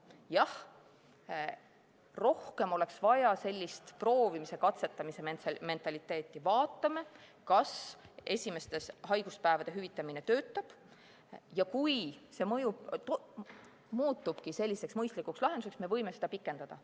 Jah, rohkem oleks vaja sellist proovimise-katsetamise mentaliteeti, et vaatame, kas esimeste haiguspäevade hüvitamine töötab, ja kui see mõjub, muutubki selliseks mõistlikuks lahenduseks, siis me võime seda pikendada.